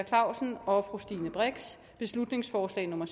clausen og og stine brix beslutningsforslag nummer